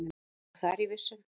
Já, það er ég viss um.